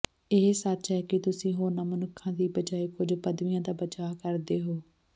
ਇਹ ਸੱਚ ਹੈ ਕਿ ਤੁਸੀਂ ਹੋਰਨਾਂ ਮਨੁੱਖਾਂ ਦੀ ਬਜਾਇ ਕੁਝ ਪਦਵੀਆਂ ਦਾ ਬਚਾਅ ਕਰਦੇ ਹੋ